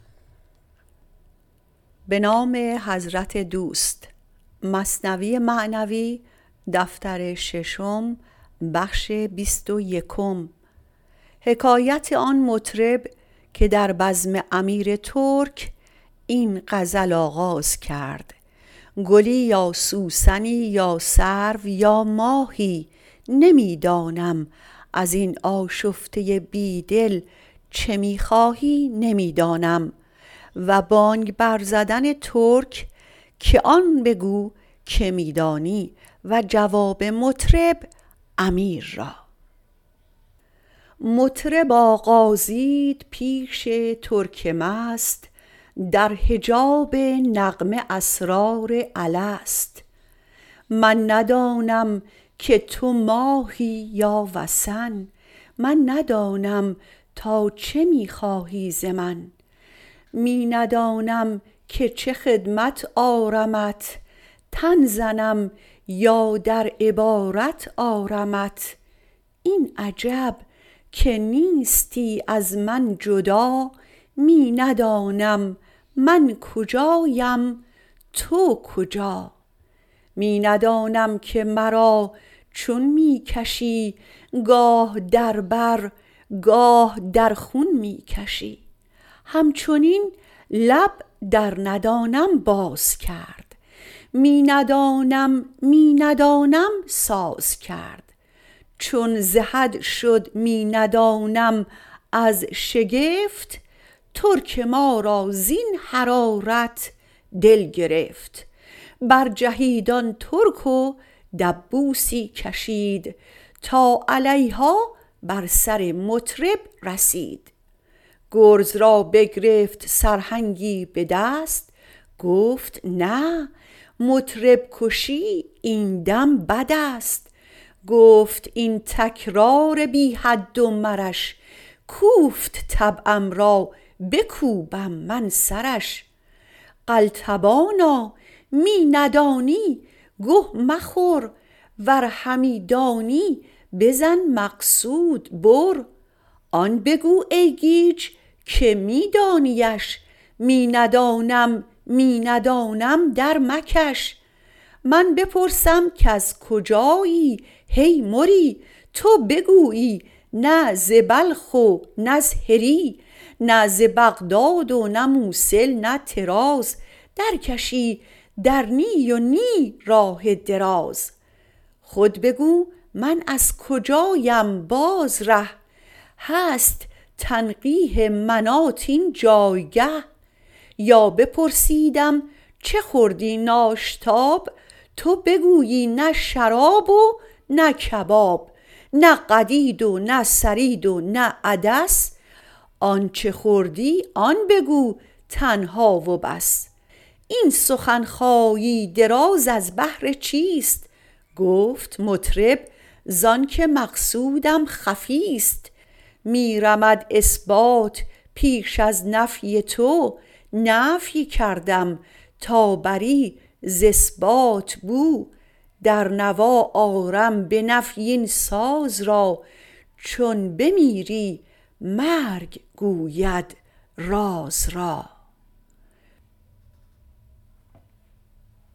مطرب آغازید پیش ترک مست در حجاب نغمه اسرار الست من ندانم که تو ماهی یا وثن من ندانم تا چه می خواهی ز من می ندانم که چه خدمت آرمت تن زنم یا در عبارت آرمت این عجب که نیستی از من جدا می ندانم من کجاام تو کجا می ندانم که مرا چون می کشی گاه در بر گاه در خون می کشی هم چنین لب در ندانم باز کرد می ندانم می ندانم ساز کرد چون ز حد شد می ندانم از شگفت ترک ما را زین حراره دل گرفت برجهید آن ترک و دبوسی کشید تا علیها بر سر مطرب رسید گرز را بگرفت سرهنگی بدست گفت نه مطرب کشی این دم بدست گفت این تکرار بی حد و مرش کوفت طبعم را بکوبم من سرش قلتبانا می ندانی گه مخور ور همی دانی بزن مقصود بر آن بگو ای گیج که می دانیش می ندانم می ندانم در مکش من بپرسم کز کجایی هی مری تو بگویی نه ز بلخ و نز هری نه ز بغداد و نه موصل نه طراز در کشی در نی و نی راه دراز خود بگو من از کجاام باز ره هست تنقیح مناط اینجا بله یا بپرسیدم چه خوردی ناشتاب تو بگویی نه شراب و نه کباب نه قدید و نه ثرید و نه عدس آنچ خوردی آن بگو تنها و بس این سخن خایی دراز از بهر چیست گفت مطرب زانک مقصودم خفیست می رمد اثبات پیش از نفی تو نفی کردم تا بری ز اثبات بو در نوا آرم بنفی این ساز را چون بمیری مرگ گوید راز را